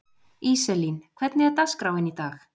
Íselín, hvernig er dagskráin í dag?